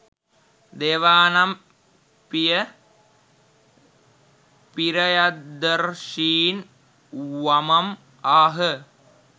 දේවානම්පිය පි්‍රයදර්ශීන් වමම් ආහ.